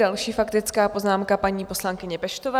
Další faktická poznámka paní poslankyně Peštové.